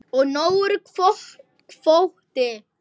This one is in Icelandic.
Og nógur kvóti.